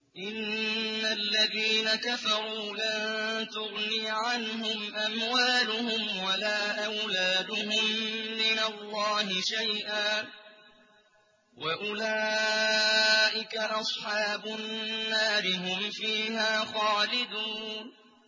إِنَّ الَّذِينَ كَفَرُوا لَن تُغْنِيَ عَنْهُمْ أَمْوَالُهُمْ وَلَا أَوْلَادُهُم مِّنَ اللَّهِ شَيْئًا ۖ وَأُولَٰئِكَ أَصْحَابُ النَّارِ ۚ هُمْ فِيهَا خَالِدُونَ